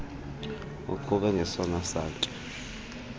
uqhube ngesona satya